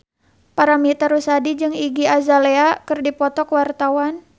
Paramitha Rusady jeung Iggy Azalea keur dipoto ku wartawan